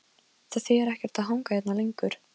Það þýðir ekkert að hanga hérna lengur.